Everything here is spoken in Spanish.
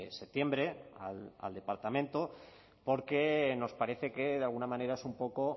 septiembre al departamento porque nos parece que de alguna manera es un poco